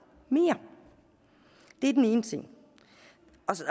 mere det er den ene ting